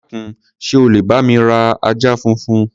Dákun, ṣé o lè bá mi ra ajá funfun?